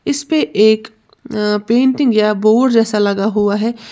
इसपे एक अं पेंटिंग या बोर्ड जैसा लगा हुआ है।